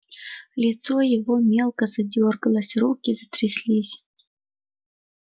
лицо его мелко задёргалось руки затряслись